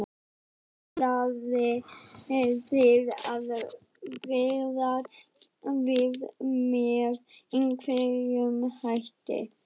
Helga: Ætlið þið að bregðast við með einhverjum hætti?